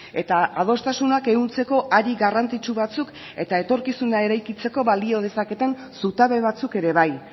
eta adostasunak ehuntzeko ari garrantzitsu batzuk eta etorkizuna eraikitzeko balio dezaketen zutabe batzuk ere bai